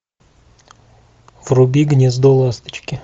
вруби гнездо ласточки